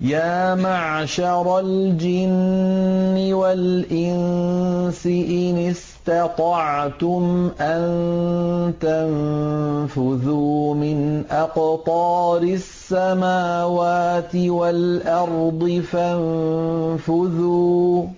يَا مَعْشَرَ الْجِنِّ وَالْإِنسِ إِنِ اسْتَطَعْتُمْ أَن تَنفُذُوا مِنْ أَقْطَارِ السَّمَاوَاتِ وَالْأَرْضِ فَانفُذُوا ۚ